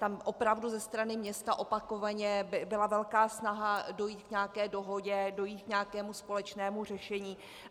Tam opravdu ze strany města opakovaně byla velká snaha dojít k nějaké dohodě, dojít k nějakému společnému řešení.